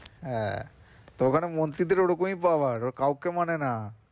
হ্যাঁ তো ওখানে মন্ত্রী দের ওই রকমই power ওরা কেউ কে মানে না।